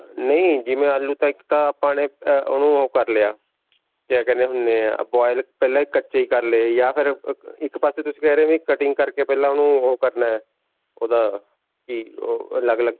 ਨਹੀਂ, ਜਿਵੇਂ ਆਲੂ ਤਾਂ ਇੱਕ ਤਾਂ ਆਪਾਂ ਨੇ ਉਹਨੂੰ ਓਹ ਕਰ ਲਿਆ. ਕਿਆ ਕਹਿਨੇ ਹੁੰਨੇ ਹਾਂ boil ਪਹਿਲਾਂ ਕੱਚੇ ਹੀ ਕਰ ਲਏ ਜਾਂ ਫਿਰ ਅਅ ਇੱਕ ਪਾਸੇ ਤੁਸੀਂ ਕਹਿ ਰਹੇ ਵੀ cutting ਕਰਕੇ ਪਹਿਲਾਂ ਓਹਨੂੰ ਓਹ ਕਰਨਾ ਹੈ ਓਹਦਾ ਕੀ ਓਹ ਅਲੱਗ-ਅਲੱਗ.